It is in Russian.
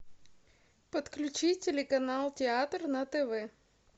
подключи телеканал театр на тв